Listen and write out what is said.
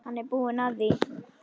Hann er búinn að því.